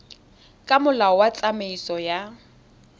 ka molao wa tsamaiso ya